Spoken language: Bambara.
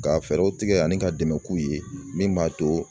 Ka fɛɛrɛw tigɛ ani ka dɛmɛ k'u ye min b'a to